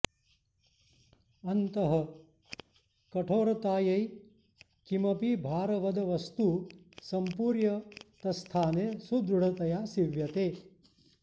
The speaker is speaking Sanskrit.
अन्तः कठोरतायै किमपि भारवद वस्तु सम्पूर्य तत्स्थाने सुदृढतया सीव्यते